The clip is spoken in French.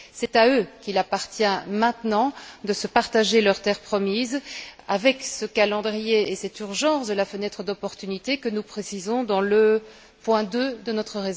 C'est à eux qu'il appartient maintenant de se partager leur terre promise avec ce calendrier et cette urgence de la fenêtre d'opportunité que nous précisons au paragraphe 2 de notre